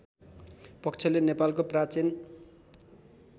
पक्षले नेपालको प्राचीन